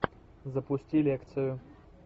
запусти лекцию